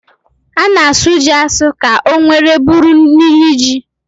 A na-asụ ji asụ ka o nwere bụrụ niri ji